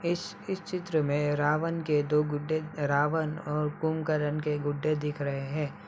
इस इस चित्र में रावण के दो गुड्डे रावण और कुमकरण के गुड्डे दिख रहे हैं ।